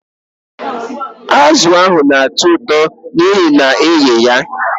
Ee, azụ ahụ na-atọ ụtọ n'ihi na a na-eghe ya